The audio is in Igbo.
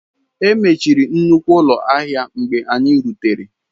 E mechiri nnukwu ụlọ ahịa mgbe anyị rutere.